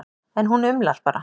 En hún umlar bara.